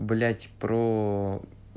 блять про